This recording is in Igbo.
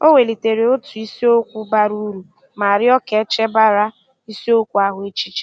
O welitere otu isiokwu bara uru ma rịọ ka e chebara isiokwu ahụ echiche.